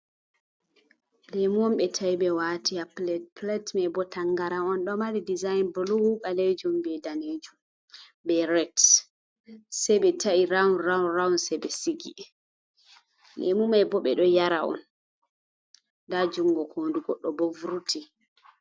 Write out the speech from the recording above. Lemu on ɓe ta'i ɓe wati ha plad, plad mai bo tangara on ɗo mari dezign blu, ɓalejum, be daneju be ret, sei be ta’i round round round sai be sigi, lemu mai bo be do yara on, nda jungo hoo ndu du goɗɗo bo vurti.